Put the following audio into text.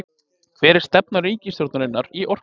Hver er stefna ríkisstjórnarinnar í orkumálum